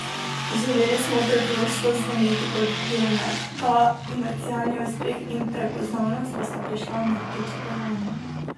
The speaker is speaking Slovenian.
Želeli smo preprosto zveneti kot Helmet, ta komercialni uspeh in prepoznavnost pa sta prišla nepričakovano.